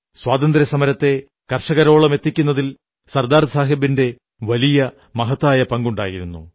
സ്വാതന്ത്ര്യസമരത്തെ കർഷകരോളമെത്തിക്കുന്നതിൽ സർദാർസാഹബിന്റെ വലിയ മഹത്തായ പങ്കുണ്ടായിരുന്നു